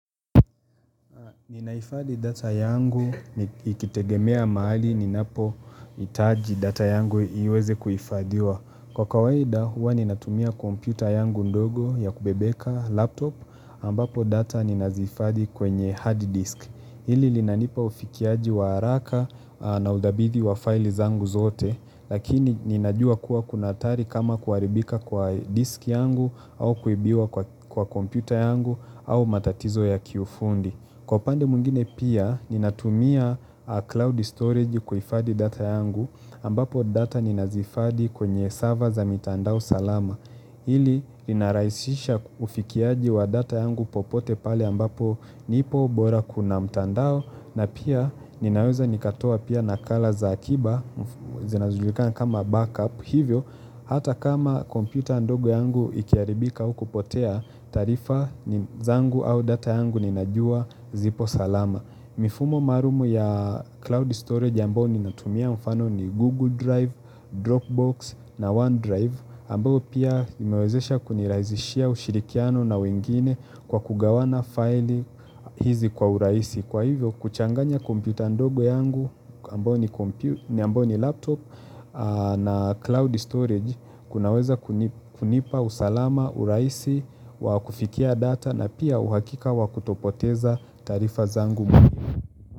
Ninaifadhi data yangu ikitegemea mahali ninapoitaji data yangu iweze kuifadhiwa. Kwa kawaida huwa ninatumia kompyuta yangu ndogo ya kubebeka laptop ambapo data ninazihifadhi kwenye hard disk. Hili linanipa ufikiaji wa haraka na udhabithi wa file zangu zote lakini ninajua kuwa kuna hatari kama kuaribika kwa disk yangu au kuibiwa kwa kompyuta yangu au matatizo ya kiufundi. Kwa upande mwingine pia, ninatumia cloud storage kuifadhi data yangu ambapo data ninazihifadhi kwenye server za mitandao salama Hili inarahisisha ufikiaji wa data yangu popote pale ambapo nipo bora kuna mtandao na pia ninaweza nikatoa pia nakala za akiba zinazojulikana kama backup hivyo hata kama kompyuta ndogo yangu ikiaribika au kupotea taarifa zangu au data yangu ninajua zipo salama. Mifumo maarum ya cloud storage ambao ninatumia mfano ni Google Drive, Dropbox na OneDrive ambao pia imewezesha kunirazishia ushirikiano na wengine kwa kugawana faili hizi kwa uraisi. Kwa hivyo kuchanganya kompyuta ndogo yangu ambao ni laptop na cloud storage kunaweza kunipa usalama uraisi wa kufikia data na pia uhakika wa kutopoteza taarifa zangu muhimu.